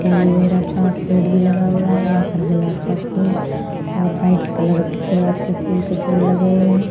केलोवेरा का पेड़ भी लगा हुआ है। यहाँ पर गुलाब का फूल और व्हाइट कलर के गुलाब के फूल के पेड़ लगे हुए हैं।